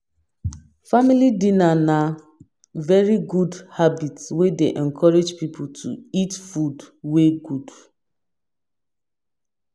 Family dinner na very good habit wey dey encourage pipo to eat food wey good